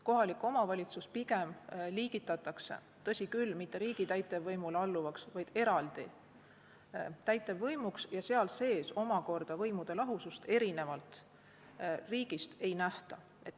Kohalik omavalitsus liigitatakse, tõsi küll, mitte riigi täitevvõimule alluvaks, vaid eraldi täitevvõimuks ja seal sees omakorda võimude lahusust erinevalt riigist ei nähta.